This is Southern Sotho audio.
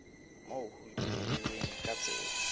moo ho ipehilweng ka tsela